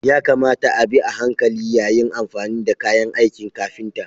Ya kamata a bi a hankali yayin amfani da kayan aikin kafinta.